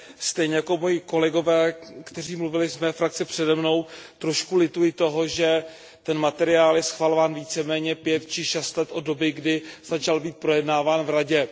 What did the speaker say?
Stejně jako moji kolegové, kteří mluvili z mé frakce přede mnou, trošku lituji toho, že ten materiál je schvalován víceméně pět či šest let od doby, kdy začal být projednáván v Radě.